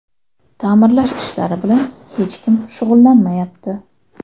Ta’mirlash ishlari bilan ham hech kim shug‘ullanmayapti.